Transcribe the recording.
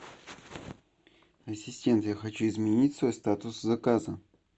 ассистент я хочу изменить свой статус заказа